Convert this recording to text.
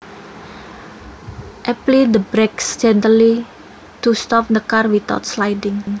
Apply the brakes gently to stop the car without sliding